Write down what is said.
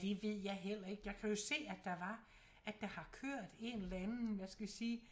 Det ved jeg heller ikke jeg kan jo se at der var at der har kørt en eller anden hvad skal vi sige